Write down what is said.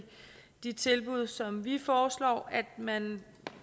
de tilbud som vi foreslår at man